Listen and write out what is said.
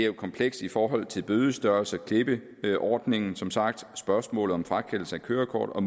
komplekst i forhold til bødestørrelser klippeordningen og som sagt spørgsmålet om frakendelse af kørekortet og